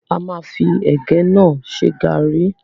A máa fi ẹ̀gẹ́ náà ṣe garri